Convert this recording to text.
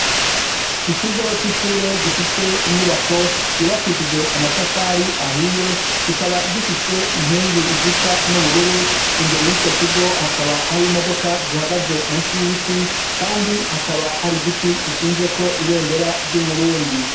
Ikigo c'ishure gifise inyubako yubakishije amatafari ahiye kikaba gifise inkingi zisa n'ubururu imbere y'ico kigo hakaba hari imodoka zihagaze munsi y'ibiti kandi hakaba hari igiti gishinzeko ibendera ry'Uburundi.